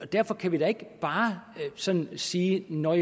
derfor kan vi da ikke bare sådan sige nå